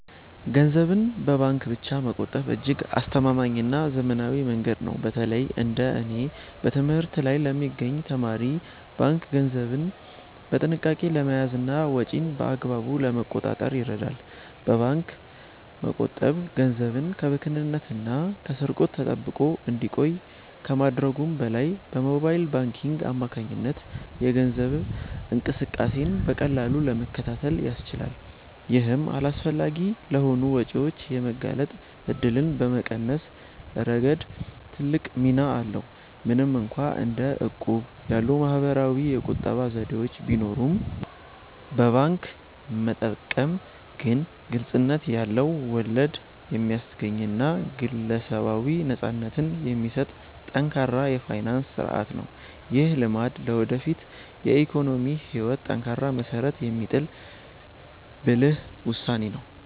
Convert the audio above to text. ገንዘብን በባንክ ብቻ መቆጠብ እጅግ አስተማማኝና ዘመናዊ መንገድ ነው። በተለይ እንደ እኔ በትምህርት ላይ ለሚገኝ ተማሪ፣ ባንክ ገንዘብን በጥንቃቄ ለመያዝና ወጪን በአግባቡ ለመቆጣጠር ይረዳል። በባንክ መቆጠብ ገንዘብ ከብክነትና ከስርቆት ተጠብቆ እንዲቆይ ከማድረጉም በላይ፣ በሞባይል ባንኪንግ አማካኝነት የገንዘብ እንቅስቃሴን በቀላሉ ለመከታተል ያስችላል። ይህም አላስፈላጊ ለሆኑ ወጪዎች የመጋለጥ እድልን በመቀነስ ረገድ ትልቅ ሚና አለው። ምንም እንኳን እንደ እቁብ ያሉ ማኅበራዊ የቁጠባ ዘዴዎች ቢኖሩም፣ በባንክ መጠቀም ግን ግልጽነት ያለው፣ ወለድ የሚያስገኝና ግለሰባዊ ነፃነትን የሚሰጥ ጠንካራ የፋይናንስ ሥርዓት ነው። ይህ ልማድ ለወደፊት የኢኮኖሚ ሕይወት ጠንካራ መሠረት የሚጥል ብልህ ውሳኔ ነው።